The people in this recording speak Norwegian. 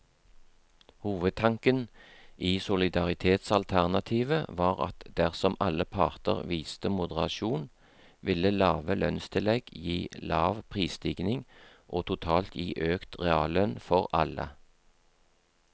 Hovedtanken i solidaritetsalternativet var at dersom alle parter viste moderasjon, ville lave lønnstillegg gi lav prisstigning og totalt gi økt reallønn for alle.